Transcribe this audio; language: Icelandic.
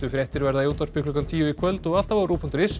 fréttir verða í útvarpi klukkan tíu í kvöld og alltaf á rúv punktur is